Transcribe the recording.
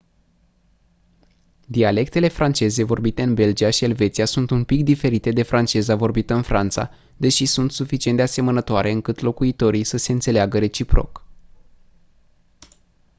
dialectele franceze vorbite în belgia și elveția sunt un pic diferite de franceza vorbită în franța deși sunt suficient de asemănătoare încât locuitorii să se înțeleagă reciproc